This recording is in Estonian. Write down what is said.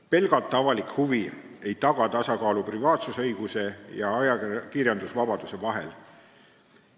Pelgalt avalik huvi ei taga tasakaalu privaatsusõiguse ja ajakirjandusvabaduse vahel.